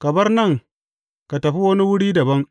Ka bar nan ka tafi wani wuri dabam.